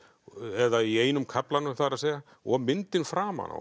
eða í einum kaflanum það er að segja og myndin framan á